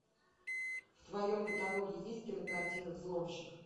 в твоем каталоге есть кинокартина взломщик